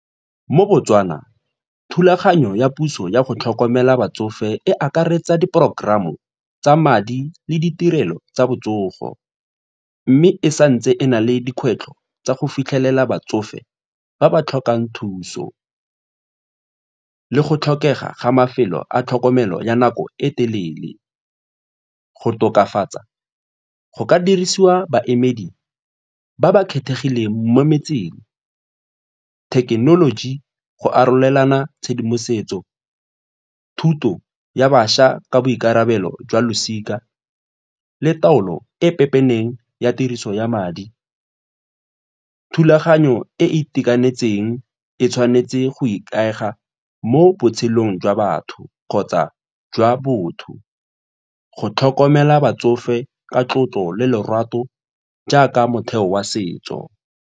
Mo Botswana, thulaganyo ya puso yago tlhokomela batsofe e akaretsa di porokoramo tsa madi le ditirelo tsa botsogo mme e sa ntse e na le dikgwetlho tsa go fitlhelela batsofe ba ba tlhokang thuso go tlhokega ga mafelo a tlhokomelo ya nako e telele. Go tokafatsa go ka dirisiwa baemedi ba ba kgethegileng mo metseng, thekenoloji go arolelana tshedimosetso, thuto ya bašwa ka boikarabelo jwa losika le taolo e pepeneng ya tiriso ya madi. Thulaganyo e e itekanetseng e tshwanetse go ikaega mo botshelong jwa batho kgotsa jwa botho go tlhokomela batsofe ka tlotlo le lorato jaaka motheo wa setso.